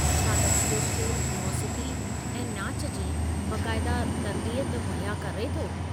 छा तव्हां जो स्कूलु मोसीक़ी ऐं नाचु जी बाक़ायदा तरबियत मुहैया करे थो?